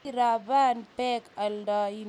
Koiraban bek Ailandi ak Uingereza.